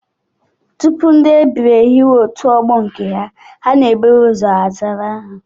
Tupu ndị ebiri ehiwe otu ọgbọ nke ha, ha na-eburu ụzọ zara aha